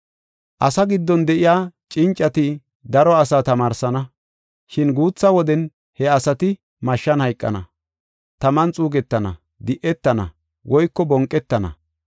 “Asaa giddon de7iya cincati daro asaa tamaarsana. Shin guutha woden he asati mashshan hayqana, taman xuugetana, di7etana woyko bonqetana.